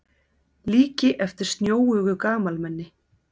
Líki eftir snjóugu gamalmenni.